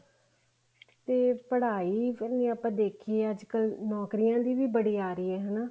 ਤੇ ਪੜ੍ਹਾਈ ਕਨੀ ਆਪਾਂ ਦੇਖੀਏ ਅੱਜਕਲ ਨੋਕਰੀਆਂ ਦੀ ਬੜੀ ਆ ਰਹੀ ਹੈ ਹਨਾ